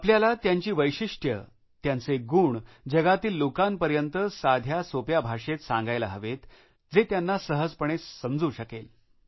आपल्याला त्यांची वैशिष्ट्ये त्यांचे गुण जगातील लोकांपर्यंत साध्या सहज भाषेत सांगायला हवेत जे त्यांना सहजपणे समजू शकेल